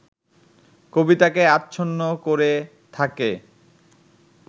কবিতাকে আচ্ছন্ন করে থাকে